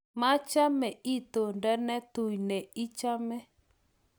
machame itondo ne tui ne ichome